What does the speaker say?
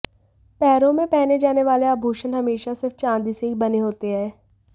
पैरों में पहने जाने वाले आभूषण हमेशा सिर्फ चांदी से ही बने होते हैं